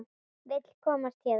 Vill komast héðan.